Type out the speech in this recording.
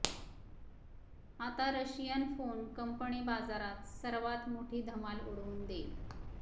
आता Russian phone company बाजारात सर्वात मोठी धम्माल उडवून देईल